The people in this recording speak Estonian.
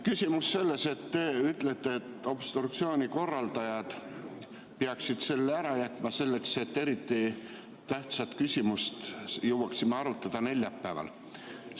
Küsimus selles, et te ütlete, et obstruktsiooni korraldajad peaksid selle ära jätma, selleks et eriti tähtsat küsimust jõuaksime arutada neljapäeval.